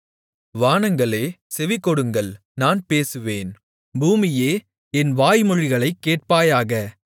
வானங்களே செவிகொடுங்கள் நான் பேசுவேன் பூமியே என் வாய்மொழிகளைக் கேட்பாயாக